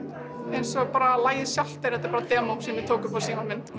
eins og lagið sjálft þetta er bara demó sem ég tók upp á símann minn